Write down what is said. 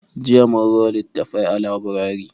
Jiya mun ro littattafai a laburari.